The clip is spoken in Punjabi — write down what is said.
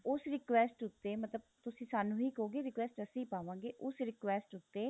ਉਸ request ਉੱਤੇ ਮਤਲਬ ਤੁਸੀਂ ਸਾਨੂੰ ਹੀ ਕਹੋਗੇ request ਅਸੀਂ ਪਾਵਾਂਗੇ ਉਸ request ਉੱਤੇ